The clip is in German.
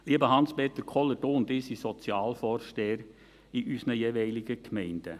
Lieber Hans-Peter Kohler, Sie und ich sind Sozialvorsteher in unseren jeweiligen Gemeinden.